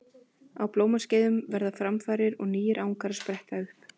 Á blómaskeiðum verða framfarir og nýir angar spretta upp.